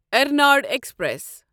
Ernad express